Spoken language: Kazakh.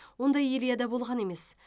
ондай ильяда болған емес